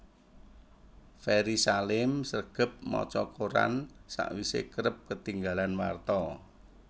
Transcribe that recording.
Ferry Salim sregep maca koran sakwise kerep ketinggalan warta